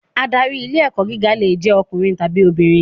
Adarí ilé-ẹ̀kọ́ gíga lè jẹ́ ọkùnrin tàbí obìnrin.